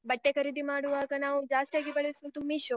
ಬಟ್ಟೆ ಖರೀದಿ ಮಾಡುವಾಗ ನಾವು ಜಾಸ್ತಿಯಾಗಿ ಬಳಸುದು Meesho.